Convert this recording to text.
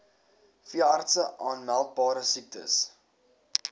veeartse aanmeldbare siektes